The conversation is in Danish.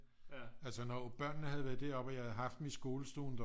Altså når børnene havde været deroppe og jeg havde haft dem i skolen deroppe